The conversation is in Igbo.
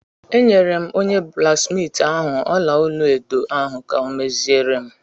Enyere m onye blaksmiiti ahụ ọla-olu edo ahụ ka ọ meziere m.